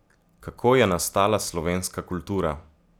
Kako je nastala slovenska kultura?